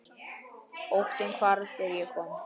Óttinn hvarf þegar ég kom.